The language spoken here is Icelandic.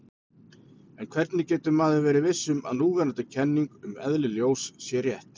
En hvernig getur maður verið viss um að núverandi kenning um eðli ljós sé rétt?